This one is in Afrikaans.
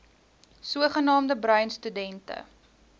sogenaamde bruin studente